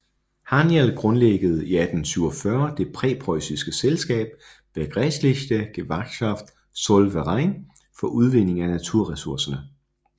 Haniel grundlagde i 1847 det preussiske selskab Bergrechtliche Gewerkschaft Zollverein for udvinding af naturresourcerne